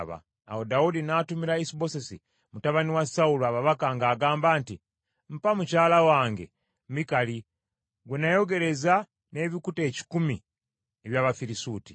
Awo Dawudi n’atumira Isubosesi mutabani wa Sawulo ababaka ng’agamba nti, “Mpa mukyala wange Mikali gwe nayogereza n’ebikuta ekikumi eby’Abafirisuuti.”